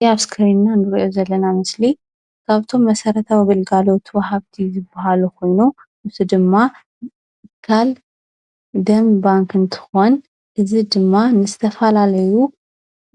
እዚ አብ እስኪሪን እንሪኦ ዘለና ምስሊ ካብቶም መሰረታዊ ግልጋሎት ወሃብቲ ዝባሃሉ ኩሎም ንሱ ድማ ከም ደም ባንኪ እንትኮን እዚ ድማ ንዝተፈላለዩ